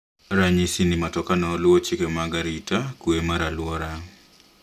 Ranyisi ni matoka no luowo chike mag arita kwee mar aluora